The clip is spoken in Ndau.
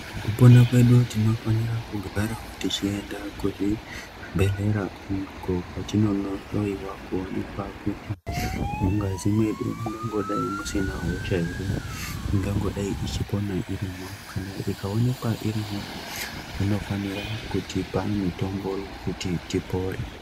Mukupona kwedu tinofanire kugarawo techienda kuzvibhedhlera, uko kwetinonohloyiwa kuonekwa kuti mungazi mwedu mungangodai musina hosha ere, ingangodai ichipona irimwo. Kana ikaonekwa irimwo vanofanira kutipa mitombo yekuti tipore.